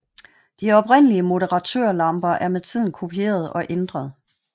De oprindelige moderatørlamper er med tiden kopieret og ændret